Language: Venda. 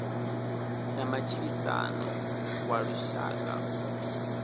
ya matshilisano wa lushaka u